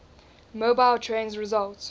mobile trains result